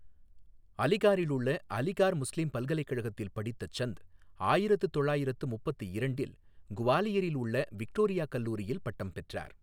அளிகாரிலுள்ள Aligarh Muslim பல்கலைக்கழகத்தில் படித்த சந்த், ஆயிரத்து தொள்ளாயிரத்து முப்பத்து இரண்டில் குவாலியரில் உள்ள விக்டோரியா கல்லூரியில் பட்டம் பெற்றார்.